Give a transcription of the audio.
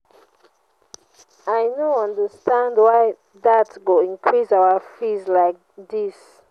i no understand why dat go increase our school fees like dis.